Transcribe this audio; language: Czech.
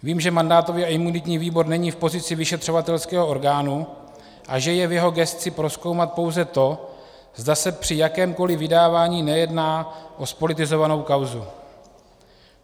Vím, že mandátový a imunitní výbor není v pozici vyšetřovatelského orgánu a že je v jeho gesci prozkoumat pouze to, zda se při jakémkoliv vydávání nejedná o zpolitizovanou kauzu.